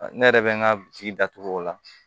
Ne yɛrɛ bɛ n ka bi datugu o la